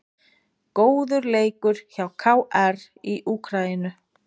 Góður leikur hjá KR í Úkraínu